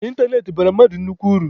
Ịntanetị bara mmadụ nnukwu uru.